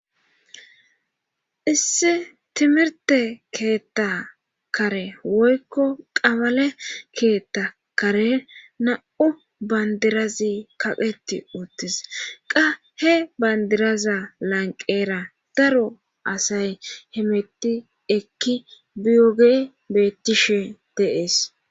Issi timirte keetta kare woykko qabale keetta kare na7u bandirazi kaqeti uuttis qa he bandiraza lanqera daro asay himetti ekki biyoge bettishe deees.